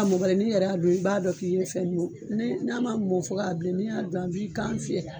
A mɔ bali n'i yɛrɛ y'a don, i b'a dɔn k'i ye fɛn yu. Ni n'a ma mɔ fɔ k'a bilen n'i y'a dun a b'i kan fiyela.